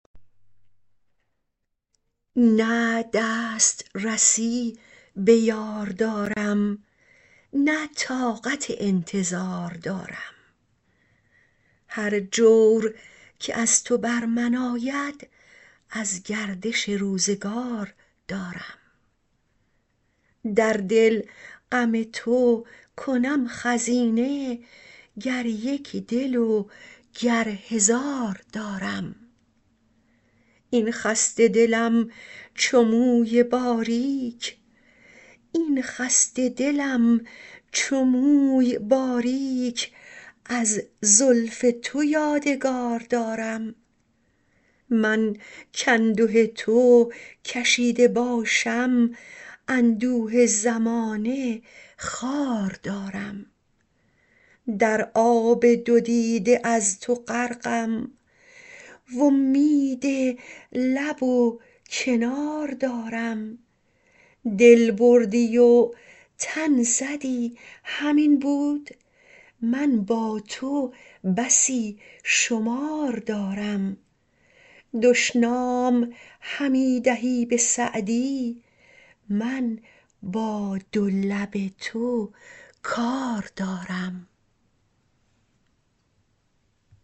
نه دست رسی به یار دارم نه طاقت انتظار دارم هر جور که از تو بر من آید از گردش روزگار دارم در دل غم تو کنم خزینه گر یک دل و گر هزار دارم این خسته دلم چو موی باریک از زلف تو یادگار دارم من کانده تو کشیده باشم اندوه زمانه خوار دارم در آب دو دیده از تو غرقم وامید لب و کنار دارم دل بردی و تن زدی همین بود من با تو بسی شمار دارم دشنام همی دهی به سعدی من با دو لب تو کار دارم